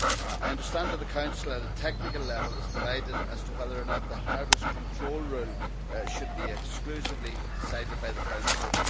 I understand that the Council, at a technical level, is divided as to whether or not the harvest control rule should be exclusively decided by the Council.